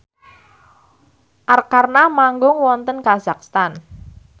Arkarna manggung wonten kazakhstan